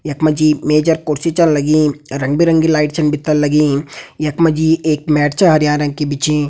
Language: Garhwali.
यख मा जी मेज अर कुर्सी छन लगीं रंग बिरंगी लाइट छन भितर लगीं यख मा जी एक मैट छा हरयां रंग की बिछीं।